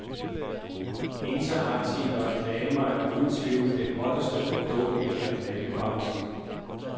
Interaktive reklamer er uden tvivl det hotteste produkt i reklamebranchen.